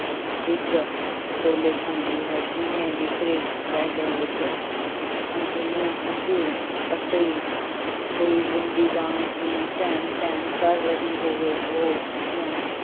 ਡਿੱਕਡੋਲੇ ਖਾਂਦੀ ਹੈ, ਜਿਵੇਂ ਬਿਖਰੇ ਪੈਂਡਿਆਂ ਵਿੱਚ ਅਣਿਖ਼ਆਲਿਆ ਹੰਝੂ ਕੱਟੀ ਹੋਈ ਗੁੱਡੀ ਵਾਂਗ ਜਿਵੇਂ ਢਹਿਣ-ਢਹਿਣ ਕਰ ਰਹੀ ਹੋਵੇ, ਉਹ ਅੱਖੀਉਂ